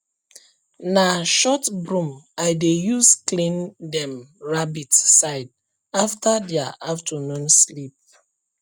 na short broom i dey use clean dem rabbit side after dia afternoon sleep